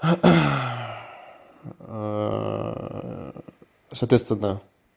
соответственно